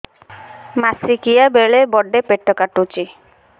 ମାସିକିଆ ବେଳେ ବଡେ ପେଟ କାଟୁଚି